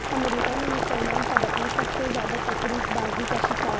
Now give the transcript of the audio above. امریکہ میں مسلمان طبقہ سب سے زیادہ تفریق بازی کا شکار